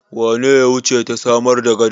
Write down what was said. Wane ne ya wuce ta samar gada?